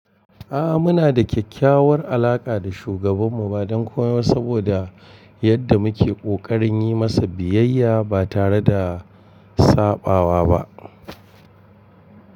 A'a muna da kyakkyawar alaƙa da shugaban mu ba don komai saboda yadda muke ƙoƙarin yi masa biyayya ba tare da saɓawa ba.